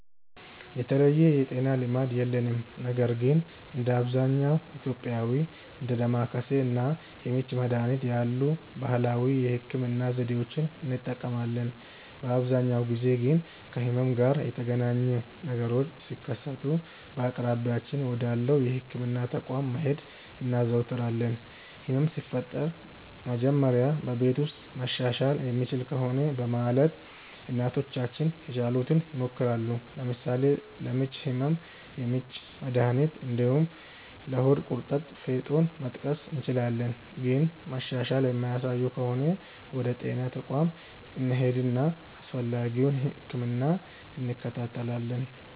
የተለየ የጤና ልማድ የለንም ነገር ግን እንደ አብዛኛው ኢትዮጵያዊ እንደ ዳማከሴ እና ምች መድሀኒት ያሉ ባህላዊ የህክምና ዘዴዎችን እንጠቀማለን። በአብዛኛው ጊዜ ግን ከህመም ጋር የተገናኘ ነገሮች ሲከሰቱ በአቅራቢያችን ወዳለው የህክምና ተቋም መሄድ እናዘወትራለን። ህመም ሲፈጠር መጀመሪያ በቤት ውስጥ መሻሻል የሚችል ከሆነ በማለት እናቶቻችን የቻሉትን ይሞክራሉ። ለምሳሌ ለምች ህመም የምች መድሀኒት እንዲሁም ለሆድ ቁርጠት ፌጦን መጥቀስ እንችላለን። ግን መሻሻል የማያሳዩ ከሆነ ወደ ጤና ተቋም እንሄድና አስፈላጊውን ህክምና እንከታተላለን።